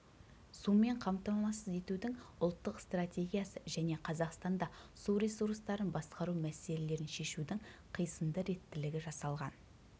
сумен қамтамасыз етудің ұлттық стратегиясы және қазақстанда су ресурстарын басқару мәселелерін шешудің қисынды реттілігі жасалған